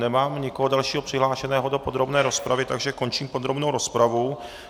Nemám nikoho dalšího přihlášeného do podrobné rozpravy, takže končím podrobnou rozpravu.